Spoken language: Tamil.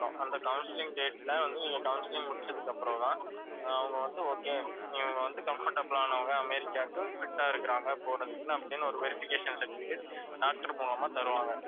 அந்த counselling date ல வந்து நீங்க counselling முடிச்சதுக்கு அப்புறம்தான் ஆஹ் அவங்க வந்து okay நீங்க வந்து comfortable ஆனவங்க அமெரிக்காக்கு fit ஆ இருக்கிறாங்க போறதுக்குன்னு அப்படின்னு ஒரு verification certificate, doctor மூலமா தருவாங்க